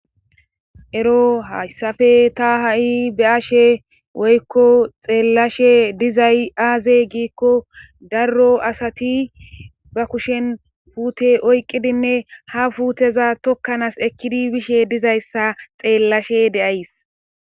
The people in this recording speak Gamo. ero hayssafe ta ha7i be ashe woykko xeellashe dizay aaze giikko darro asati ba kushen puute oyqqidinne ha puuteza tokkanaas ekkidi bishe dizayssa xeellashe de7ays